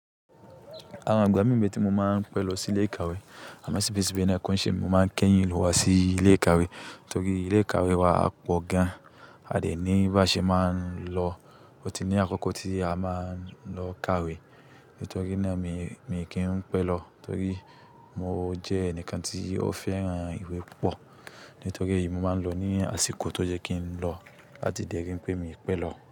Àwọn ìgbà mí n be tí mo máa ń pẹ́ lọ sí ilé ìkàwé, àmọ́ ṣíbí ṣíbí na ko n ṣé emi máa ń kéyìn wá sí ilé ìkàwé, torí ilé ìkàwé wá a pọ̀ gan. A dè ní bá ṣe máa ń lọ, ó ti ní àkókò tí a máa ń lọ kàwé. Nítorí náà ni yen, mi kì í pẹ́ lọ, torí mo jẹ́ ẹnìkan tí ó fẹ́ràn ìwé púpọ̀. Nítorí èyí mo máa ń lọ ní àsìkò tó yẹ́ kí n lọ, làti le ri pé mi pẹ́ lọ.